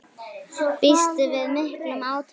Býstu við miklum átökum?